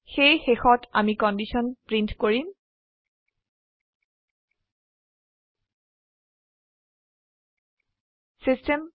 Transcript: সেয়ে শেষত আমি কন্ডিশন প্ৰীন্ট কৰিম